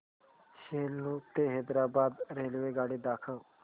सेलू ते हैदराबाद रेल्वेगाडी दाखवा